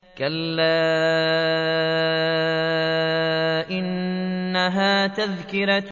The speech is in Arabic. كَلَّا إِنَّهَا تَذْكِرَةٌ